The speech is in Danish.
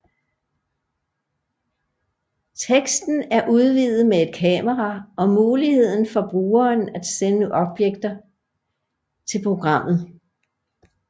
Testen er udvidet med et kamera og muligheden for brugeren at sende objekter til programmet